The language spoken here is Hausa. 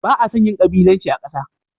Ba a son yin gabilanci a ƙasa.